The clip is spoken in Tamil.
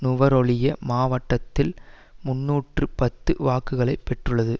நுவரெலியா மாவட்டத்தில் முன்னூற்று பத்து வாக்குகளை பெற்றுள்ளது